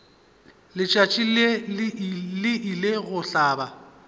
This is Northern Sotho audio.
letšatši le ile go hlaba